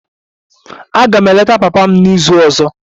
Aga m eleta papa m n'izu ọzọ.